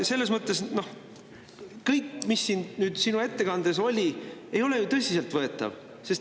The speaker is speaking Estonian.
Selles mõttes kõik, mis siin sinu ettekandes oli, ei ole tõsiselt võetav.